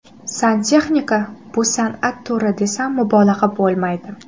Santexnika bu san’at turi, desam mubolag‘a bo‘lmaydi.